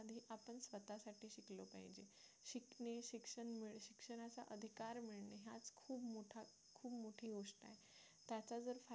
मोठी गोष्ट आहे त्याचा जर फायदा